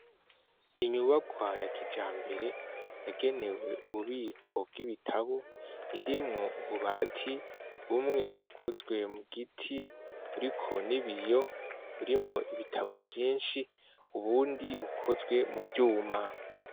Inyubarwa ya kija mbere yagenewe ububiko bw'ibitabo irimwo ububati bumwe bukozwe mu giti buri ko ni biyo urimwo ibitabo vyinshi ubundi bukozwe mu vyuma.